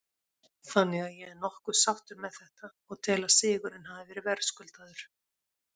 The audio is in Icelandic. Þannig að ég er nokkuð sáttur með þetta og tel að sigurinn hafi verið verðskuldaður.